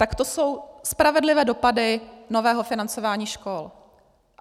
Tak to jsou spravedlivé dopady nového financování škol.